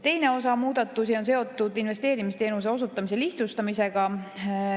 Teine osa muudatusi on seotud investeerimisteenuse osutamise lihtsustamisega.